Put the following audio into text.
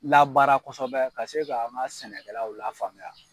Labaara kosɛbɛ ka se ka an ka sɛnɛkɛlaw lafaamuya.